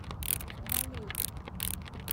балей